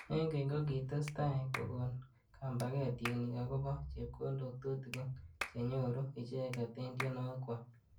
Eng keny kokitostai kokon kambaket tienik akobo chepkondok tutikin chenyoru icheket eng tienwokik kwaak.